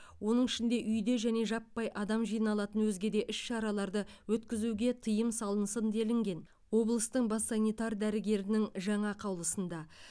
оның ішінде үйде және жаппай адам жиналатын өзге де іс шараларды өткізуге тыйым салынсын делінген облыстың бас санитар дәрігерінің жаңа қаулысында